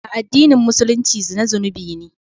A addinin Musulunci zina zunubi ne.